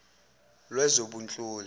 lwezobunhloli